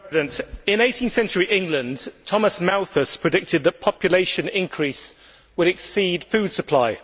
Madam President, in 18 century England, Thomas Malthus predicted that population increase would exceed food supply.